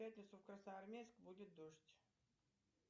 в пятницу в красноармейск будет дождь